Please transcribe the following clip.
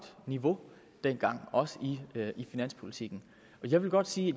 niveau dengang også i finanspolitikken jeg vil godt sige